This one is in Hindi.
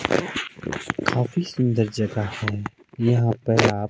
काफी सुंदर जगह है यहां पे आप--